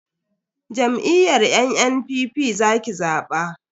Jam'iyyar NNPP za ki zaba.